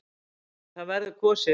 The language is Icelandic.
En það verður kosið.